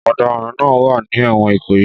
Ọ̀daràn náà wà ní ẹ̀wọ̀n Ikoyi